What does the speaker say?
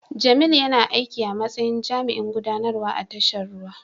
Jamil yana aiki a matsayin jami'in gudanarwa a tashar ruwa.